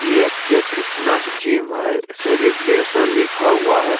ये ऐके fitness gym है सेलिब्रेशन लिखा हुआ है।